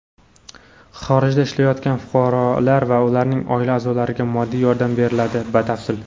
Xorijda ishlayotgan fuqarolar va ularning oila a’zolariga moddiy yordam beriladi Batafsil.